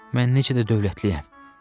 Mən necə də dövlətliyəm!